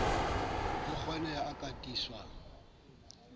ho kgoneho e ka tiiswang